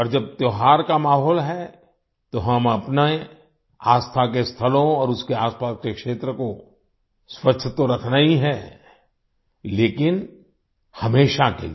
और जब त्योहार का माहौल है तो हमें अपनी आस्था के स्थलों और उसके आसपास के क्षेत्र को स्वच्छ तो रखना ही है लेकिन हमेशा के लिए